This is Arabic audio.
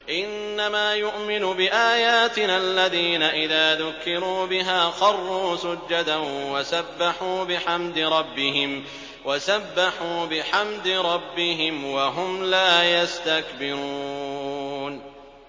إِنَّمَا يُؤْمِنُ بِآيَاتِنَا الَّذِينَ إِذَا ذُكِّرُوا بِهَا خَرُّوا سُجَّدًا وَسَبَّحُوا بِحَمْدِ رَبِّهِمْ وَهُمْ لَا يَسْتَكْبِرُونَ ۩